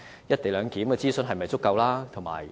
"一地兩檢"的諮詢是否足夠？